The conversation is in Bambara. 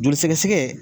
Joli sɛgɛsɛgɛ